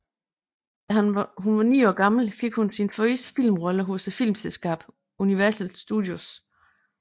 Da hun var 9 år gammel fik hun sin første filmrolle hos filmselskabet Universal Studios